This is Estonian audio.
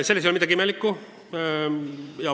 Selles ei ole midagi imelikku.